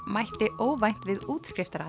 mætti óvænt við